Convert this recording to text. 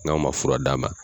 N'aw man fura d'a ma.